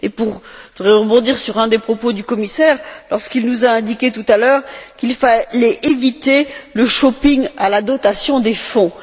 Je voudrais également rebondir sur un des propos du commissaire, lorsqu'il nous a indiqué, tout à l'heure, qu'il fallait éviter le shopping à la dotation des Fonds.